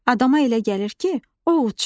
Adama elə gəlir ki, o uçur.